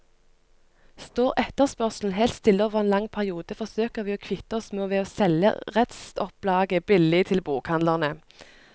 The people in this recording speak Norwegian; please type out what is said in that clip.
Står etterspørselen helt stille over en lang periode, forsøker vi å kvitte oss med ved å selge restopplaget billig til bokhandlene.